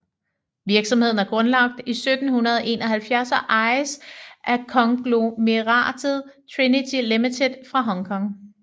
Virksomheden er grundlagt i 1771 og ejes af konglomeratet Trinity Ltd fra Hong Kong